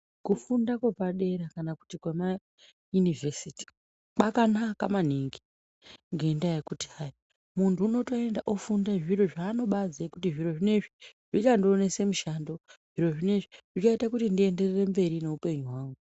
Kufunda kwepadera kana kuti kwemayunivhesiti kwakanaka maningi ngendaa yekuti hai muntu unotoenda ofunda zviro zvaanobaziye kuti zviro zvinoizvi zvichandionese mushando zviro zvinoizvi, zvichaite kuti ndienderere mberi nehupenyu hwangu.